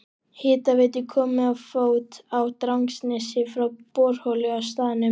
Hitaveitu komið á fót á Drangsnesi frá borholu á staðnum.